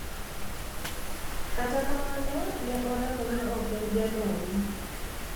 Kata kamano, ni e oramo nii ok eni janoni.